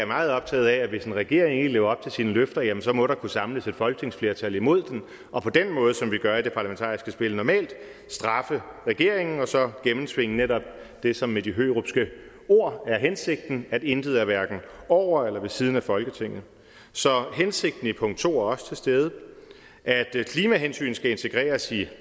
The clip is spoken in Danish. meget optaget af at hvis en regering ikke lever op til sine løfter jamen så må der kunne samles et folketingsflertal imod den og på den måde som vi gør i det parlamentariske spil normalt straffe regeringen og så gennemtvinge netop det som med de hørupske ord er hensigten at intet er hverken over eller ved siden af folketinget så hensigten i punkt to er også til stede at klimahensyn skal integreres i